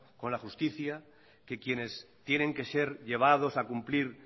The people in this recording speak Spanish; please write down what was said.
con la justicia que quienes tienen que ser llevados a cumplir